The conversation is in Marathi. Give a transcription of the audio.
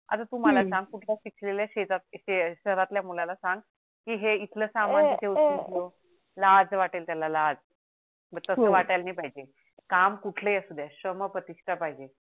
आता तु मला सांग हम्म कुठल्या ही शिकलेल्या शेतात शहरातल्या मुलाला सांग एथल समान तिथे उचलून ठेव लाज वाटेल त्याला लाज बग तस वाटायला नाही पाहिजे काम कुठल ही असू देत श्रम प्रतिष्ठा पाहिजे